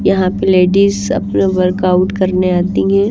यहाँ पे लेडीज अपना वर्कआउट करने आती हैं।